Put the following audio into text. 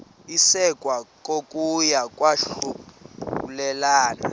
isekwa kokuya kwahlulelana